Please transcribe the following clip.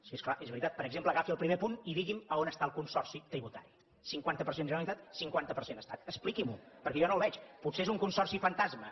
sí és clar és veritat per exemple agafi el primer punt i digui’m on està el consorci tributari cinquanta per cent generalitat cinquanta per cent estat expliqui m’ho perquè jo no el veig potser és un consorci fantasma